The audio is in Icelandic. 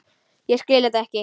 Ég skil þetta ekki!